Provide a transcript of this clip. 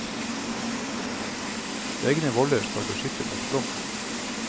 Egne voller skal beskytte mot flom.